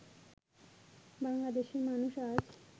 বাংলাদেশের মানুষ আজ